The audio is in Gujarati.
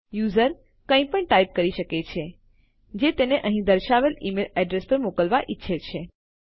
યુઝર કંઈપણ ટાઈપ કરી શકે છે જે તે અહીં દર્શાવેલ ઈમેલ એડ્રેસ પર મોકલવા ઈચ્છે છે